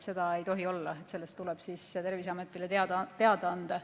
Nii ei tohi olla, sellest tuleb Terviseametile teada anda.